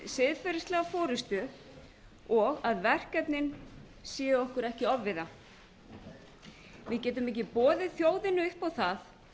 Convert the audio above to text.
siðferðislega forustu og að verkefnin séu okkur ekki ofviða við getum ekki boðið þjóðinni upp á það